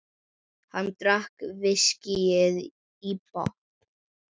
Hann drakk viskíið í botn.